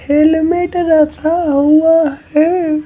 Helmet रखा हुआ है।